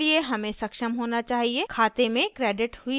खाते में credited हुई राशि को input करने में